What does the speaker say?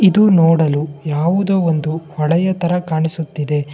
ಇದು ನೋಡಲು ಯಾವುದೋ ಒಂದು ಹಳೆಯ ತರ ಕಾಣಿಸುತ್ತಿದೆ.